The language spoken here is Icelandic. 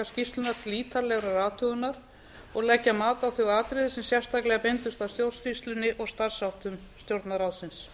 skýrsluna til ítarlegrar athugunar og leggja mat á þau atriði sem sérstaklega beindust að stjórnsýslunni og starfsháttum stjórnarráðsins